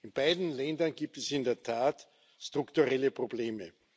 In beiden Ländern gibt es in der Tat strukturelle Probleme.